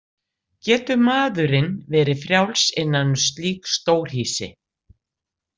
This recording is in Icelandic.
Getur maðurinn verið frjáls innan um slík stórhýsi?